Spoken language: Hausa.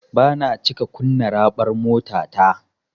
Bana cika kunna raɓar motata.